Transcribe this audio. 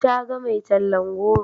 Ta ga mai tallan rogo.